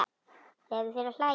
Leyfðu þér að hlæja.